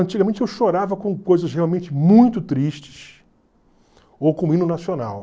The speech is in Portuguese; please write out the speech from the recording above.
Antigamente eu chorava com coisas realmente muito tristes, ou com o hino nacional.